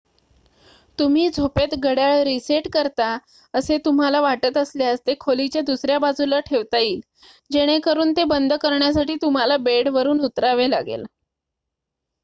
तुम्ही झोपेत घड्याळ रीसेट करता असे तुम्हाला वाटत असल्यास ते खोलीच्या दुसर्‍या बाजूला ठेवता येईल जेणेकरून ते बंद करण्यासाठी तुम्हाला बेडवरुन उतरावे लागेल